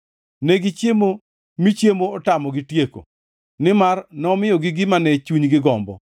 Negichiemo mi chiemo otamogi tieko, nimar nomiyogi gima ne chunygi gombo.